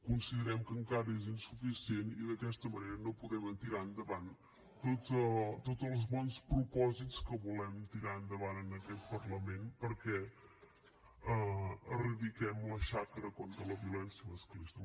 considerem que encara és insuficient i d’aquesta manera no podem tirar endavant tots els bons propòsits que volem tirar endavant en aquest parlament per eradicar la xacra contra la violència masclista